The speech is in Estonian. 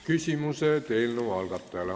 Küsimused eelnõu algatajale.